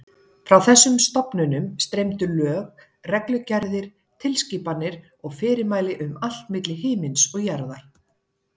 Frá þessum stofnunum streymdu lög, reglugerðir, tilskipanir og fyrirmæli um allt milli himins og jarðar.